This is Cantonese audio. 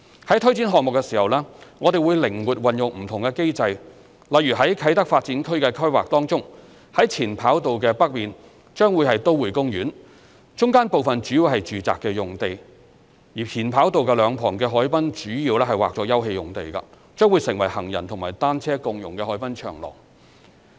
在推展項目時，我們會靈活運用不同機制，例如在啟德發展區的規劃中，在前跑道的北面將會是都會公園，中間部分主要是住宅用地，前跑道兩旁的海濱主要劃作休憩用地，將成為行人和單車共融的海濱長廊。